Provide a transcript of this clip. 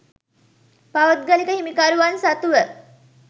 පෞද්ගලික හිමිකරුවන් සතුව